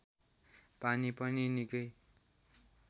पानी पनि निकै